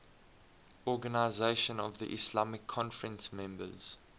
organisation of the islamic conference members